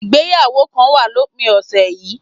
Ìgbéyàwó kan wà lópin ọ̀sẹ̀ yìí